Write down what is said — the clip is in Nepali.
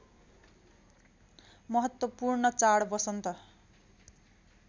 महत्त्वपूर्ण चाड वसन्त